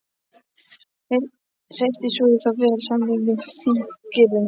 Hreytti svo í þá vel samantvinnuðum fúkyrðum.